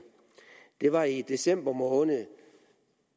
det var i december måned